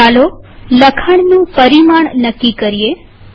ચાલો લખાણનું પરિમાણ નક્કી કરીએ